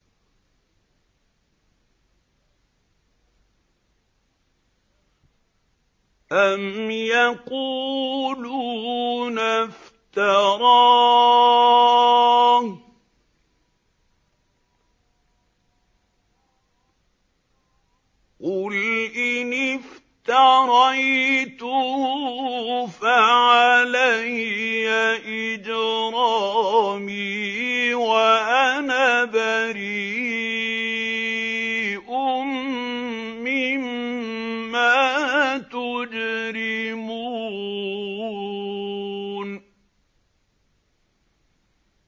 أَمْ يَقُولُونَ افْتَرَاهُ ۖ قُلْ إِنِ افْتَرَيْتُهُ فَعَلَيَّ إِجْرَامِي وَأَنَا بَرِيءٌ مِّمَّا تُجْرِمُونَ